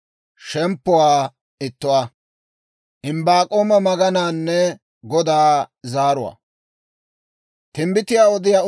Timbbitiyaa odiyaa Imbbaak'oomaw Med'ina Goday sas'aan immeedda kiitay hawaa.